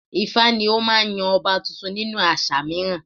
ifá ni ó máa ń yan ọba tuntun nínú àṣà mìíràn